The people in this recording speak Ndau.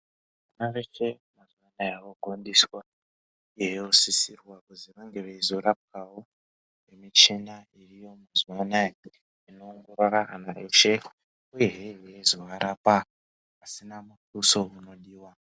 Vana veshe eya gondiswa vanosisirwa kuti vanege veizorapwa wo nemuchina iriyo mazuva anaya inoongorera vana veshe uyezve veizovarapa pasina muduso unodiwa.